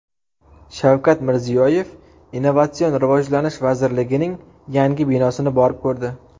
Shavkat Mirziyoyev Innovatsion rivojlanish vazirligining yangi binosini borib ko‘rdi .